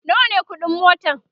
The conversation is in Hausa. nawa ne ƙuɗin motan?